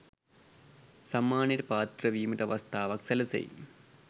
සම්මානයට පාත්‍ර වීමට අවස්ථාවක් සැලසෙයි.